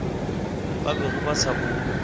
ba bego ba sa bo